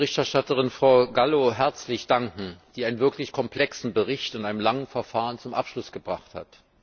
Ich möchte der Berichterstatterin, Frau Gallo, herzlich danken, die einen wirklich komplexen Bericht in einem langen Verfahren zum Abschluss gebracht hat.